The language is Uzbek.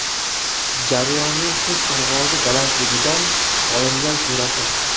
Jarayonning qush parvozi balandligidan olingan surati.